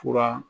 Fura